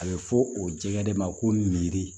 A bɛ fɔ o jɛgɛ de ma ko nindi